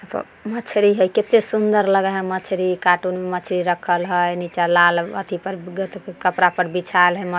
अ मछरी हई कते सुंदर लगे हई मछली काटून में मछली रखल हई नीचा लाल अथि कपड़ा पर बिछाल हई।